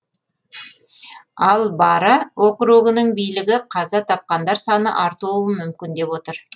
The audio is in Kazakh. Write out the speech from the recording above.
ал бара округының билігі қаза тапқандар саны артуы мүмкін деп отыр